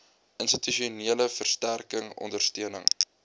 institusionele versterking ondersteuning